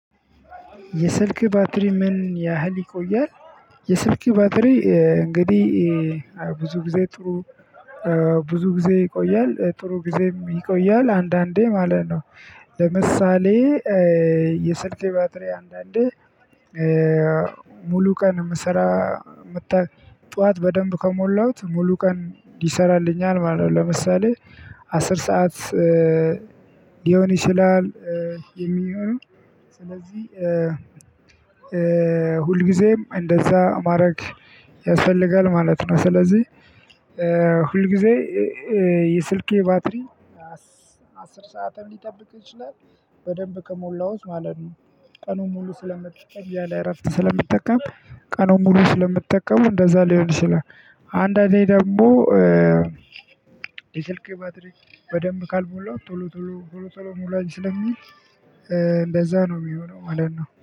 የስልክ ባትሪ ምን ያህል ይቆያል? የስልክ ባትሪ እንግዲህ ብዙ ጊዜ ጥሩ ብዙ ጊዜ ይቆያል ጥሩ ጊዜም ይቆያል አንዳንዴ ማለት ነው። የስልክ ባትሪ አንዳንዴ ሙሉ ቀን የምሰራ ጠዋት በደንብ ከሞላሁት ሙሉ ቀን ይሰራልኛል ማለት ነው። ለምሳሌ አስር ሰዓት ሊሆን ይችላል የሚሆነው ስለዚህ ሁልጊዜም እንደዛ ማረግ ያስፈልጋል ማለት ነው። ስለዚህ ሁል ጊዜ የስልኬ ባትሪ አስር ሰዓትም ሊጠብቅ ይችላል በደንብ ከሞላውት ማለት ነው። ቀኑን ሙሉ ስለምትጠቀም ያለ እፍተን ስለምጠቀም ቀኑን ሙሉ ስለምጠቀመው እንደዛ ሊሆን ይችላል። አንዳንዴ ደግሞ የስልክ ባትሪ በደንብ ካልሞላው ቶሎ ቶሎ ቶሎ ቶሎ ሙላኝ ስለሚል እንደዛ ነው ሚሆነው ማለት ነው